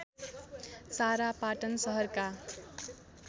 सारा पाटन सहरका